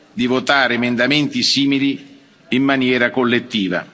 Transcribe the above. di votare emendamenti simili in maniera collettiva.